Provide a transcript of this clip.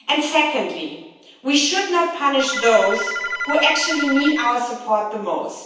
Secondly, we should not punish those who actually need our support the most.